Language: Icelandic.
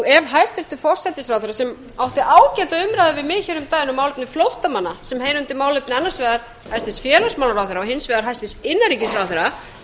ef hæstvirtur forsætisráðherra sem átti ágæta umræðu við mig um daginn um málefni flóttamanna sem heyra undir annars vegar hæstvirtan félagsmálaráðherra og hins vegar hæstvirtan innanríkisráðherra eigi að